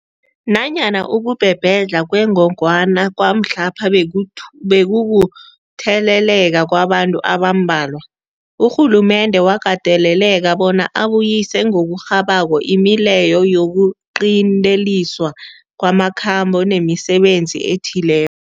Nanyana ukubhebhedlha kwengogwana kwamhlapha bekukutheleleka kwabantu abambalwa, urhulumende wakateleleka bona abuyise ngokurhabako imileyo yokuqinteliswa kwamakhambo nemisebenzi ethile